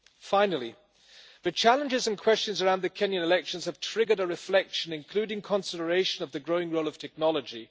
Finally, the challenges and questions around the Kenyan elections have triggered a reflection, including consideration of the growing role of technology.